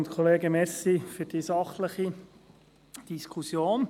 Danke für die sachliche Diskussion.